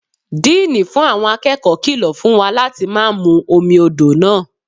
Díínì fún àwọn akẹ́kọ̀ọ́ kìlọ̀ fún wa láti má mú omi odò náà.